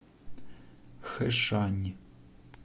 хэшань